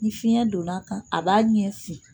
Ni fiɲɛ donna a kan a b'a ɲɛ fin